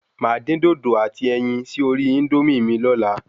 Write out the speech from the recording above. Máa dín dòdò àti ẹyin sí orí Índómì mi lóla